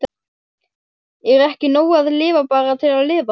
Er ekki nóg að lifa bara til að lifa?